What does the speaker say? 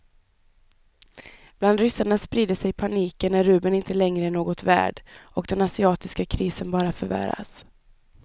Bland ryssarna sprider sig paniken när rubeln inte längre är något värd och den asiatiska krisen bara förvärras.